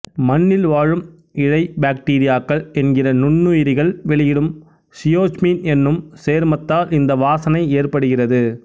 மண்ணில் வாழும் இழைபாக்டீரியாக்கள் என்கிற நுண்ணுயிர்கள் வெளியிடும் சியோச்மின் என்னும் சேர்மத்தால் இந்த வாசனை ஏற்படுகிறது